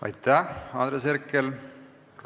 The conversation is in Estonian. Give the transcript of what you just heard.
Aitäh, Andres Herkel!